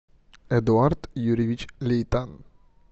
эдуард юрьевич лейтан